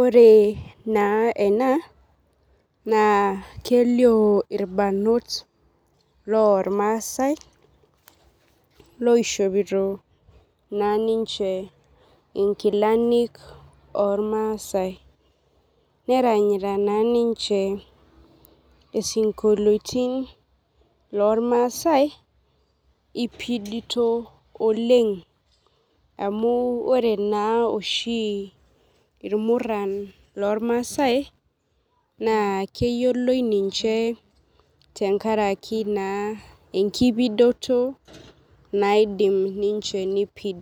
Ore naa ena naa kelioo irbarrnot lormaasae loishopito naa ninche nkilani ormaasae neranyita naa ninche isinkolioitin lormaasai ipidito oleng' amu ore naa oshi irmurran lormaasae naa keyioloi ninche tenkaraki enkipidoto naidim ninche niipid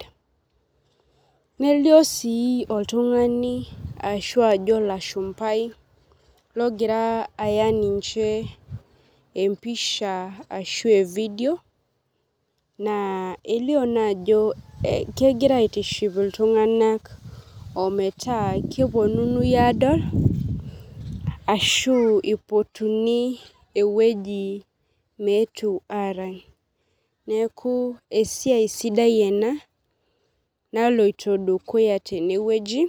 nelioo sii oltund'ani ashu ajo olashumbai ogira aya ninche empisha ashu evideo naa elioo naa ajo kegira aitiship iltung'anak ometaa keponunui aadol ashu ipotuni ewueji meetu aarany esiai sidaiena naloitoi dukuya tenewueji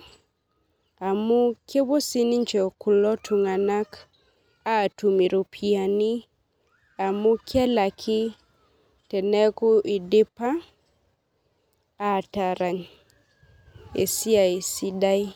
amu kepuoo sii ninche kulo tung'anak aatum iropiyiani amu kelaki teneeku idipa aatarany esiai sidai.